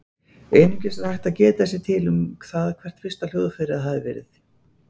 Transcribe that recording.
Einungis er hægt að geta sér til um það hvert fyrsta hljóðfærið hafi verið.